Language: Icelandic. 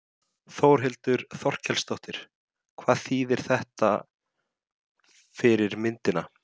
Þórhildur Þorkelsdóttir: Hvað þýðir þetta fyrir myndina?